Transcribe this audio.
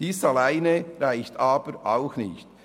Dies allein reicht aber auch nicht.